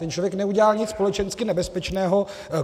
Ten člověk neudělá nic společensky nebezpečného.